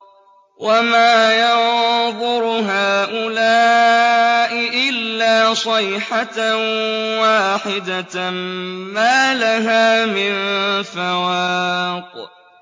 وَمَا يَنظُرُ هَٰؤُلَاءِ إِلَّا صَيْحَةً وَاحِدَةً مَّا لَهَا مِن فَوَاقٍ